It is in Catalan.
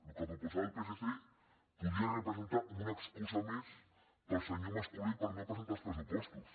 el que proposava el psc podria representar una excusa més per al senyor mas colell per no presentar els pressupostos